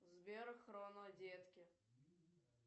сбер хроно детки